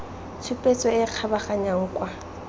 tshupetso e e kgabaganyang kwa